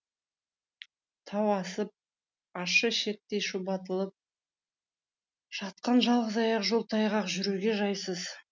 тау асып ащы ішектей шұбатылып жатқан жалғыз аяқ жол тайғақ жүруге жайсыз